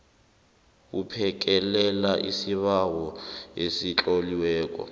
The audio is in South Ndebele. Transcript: buphekelela isibawo esitloliweko